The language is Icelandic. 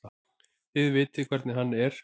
Þið vitið hvernig hann er.